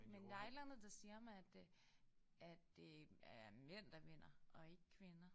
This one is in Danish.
Men der et eller andet der siger mig at øh at det er mænd der vinder og ikke kvinder